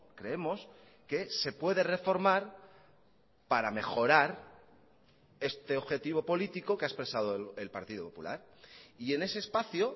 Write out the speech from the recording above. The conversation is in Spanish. creemos que se puede reformar para mejorar este objetivo político que ha expresado el partido popular y en ese espacio